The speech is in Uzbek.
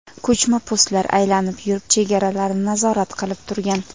Ko‘chma postlar aylanib yurib, chegaralarni nazorat qilib turgan.